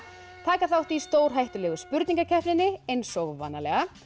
taka þátt í stórhættulegu spurningakeppninni eins og vanalega